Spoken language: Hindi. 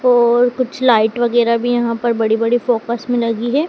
और कुछ लाइट वगैरा भी यहां पर बड़ी बड़ी फोकस में लगी है।